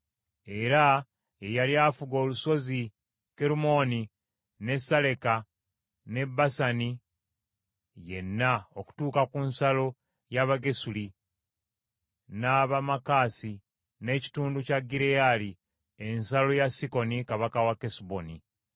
Era ye yali afuga olusozi Kerumooni ne Saleka ne Basani yenna okutuuka ku nsalo ey’Abagesuli, n’Abamaakasi, n’ekitundu kya Gireyaali, ensalo ya Sikoni kabaka we Kesuboni.